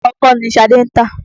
Ọkọ́ ni Ṣadé ń tà.